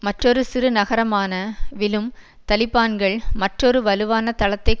மற்றொரு சிறு நகரமான விலும் தலிபான்கள் மற்றொரு வலுவான தளத்தை